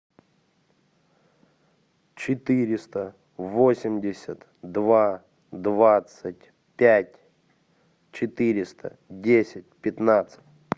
четыреста восемьдесят два двадцать пять четыреста десять пятнадцать